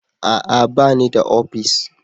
A'a! Ba ni da ofis.